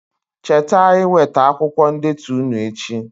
Cheta iweta akwụkwọ ndetu ụnụ echi